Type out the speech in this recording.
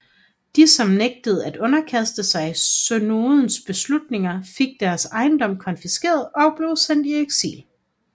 De som nægtede at underkaste sig synodens beslutninger fik deres ejendom konfiskeret og blev sendt i eksil